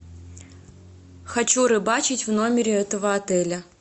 хочу рыбачить в номере этого отеля